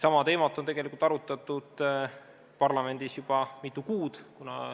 Sama teemat on tegelikult arutatud parlamendis juba mitu kuud.